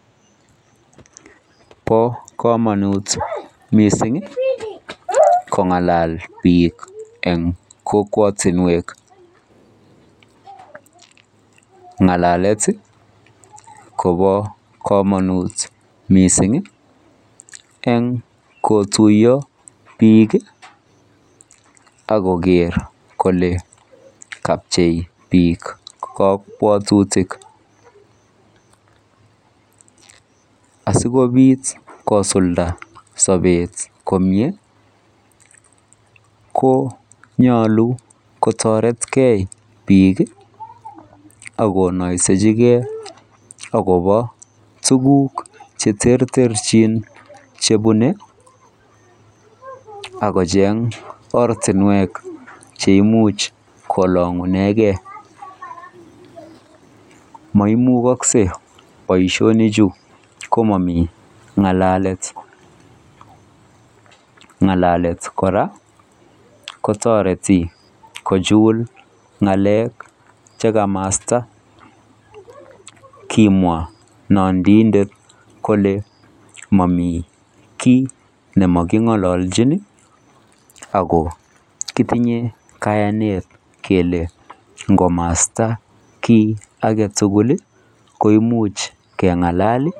Po komonut mising kong'alal biik eng kokwatunwek. Ng'alalet kopo komonut mising eng kotuiyo biik ak koker kole kapchei biik kabwatutik. Asikobit kosulda sobet komye konyolu kotoretgei biik akonoisechigei akopo tuguk cheterterchin chebune akocheng ortinwek cheimuch kolong'unegei. Moimukoksei boishonichu komomi ng'alalet. Ng'alalet kora kotoreti kochul ng'alek chekamasta. Kimwa nandiindet kole momi kiy nemaking'ololchin ako kitinye kayanet kele nkomasta kiy aketugul koimuch keng'alal...